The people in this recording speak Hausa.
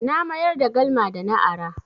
Na mayar da galma da na ara.